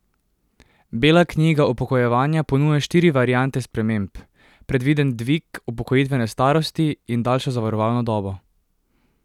Bela knjiga upokojevanja ponuja štiri variante sprememb, predviden dvig upokojitvene starosti in daljšo zavarovalno dobo.